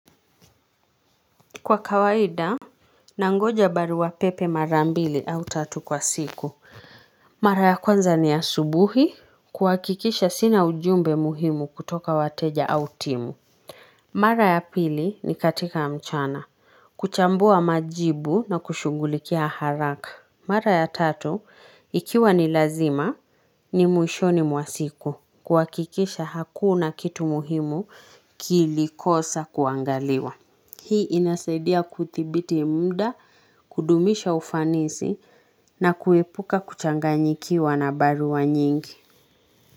Kwa kawaida, nangoja baruapepe mara mbili au tatu kwa siku. Mara ya kwanza ni ya subuhi, kuhakikisha sina ujumbe muhimu kutoka wateja au timu. Mara ya pili ni katika mchana, kuchambua majibu na kushughulikia haraka. Mara ya tatu, ikiwa ni lazima, ni mwishoni mwa siku, kuwakikisha hakuna kitu muhimu kilikosa kuangaliwa. Hii inasaidia kudhibiti mda, kudumisha ufanisi na kuepuka kuchanganyikiwa na barua nyingi.